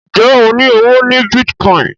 Njé o ní ọwọ ní Bitcoin?